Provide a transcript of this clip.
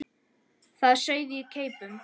Það sauð á keipum.